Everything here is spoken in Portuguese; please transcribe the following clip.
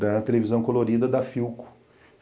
da televisão colorida da Philco.